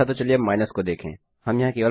अच्छा तो चलिए अब माइनस घटाव को देखें